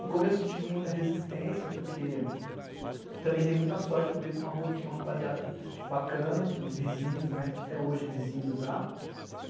No começo eu tive muita resistência porque também dei muita sorte, mudei para uma rua que tinha uma rapaziada bacana, uns vizinhos, até hoje vizinhos lá.